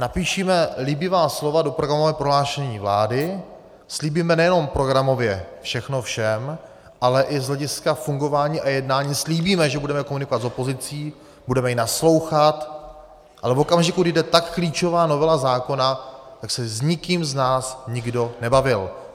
Napíšeme líbivá slova do programového prohlášení vlády, slíbíme nejenom programově všechno všem, ale i z hlediska fungování a jednání slíbíme, že budeme komunikovat s opozicí, budeme jí naslouchat, ale v okamžiku, když jde tak klíčová novela zákona, tak se s nikým z nás nikdo nebavil.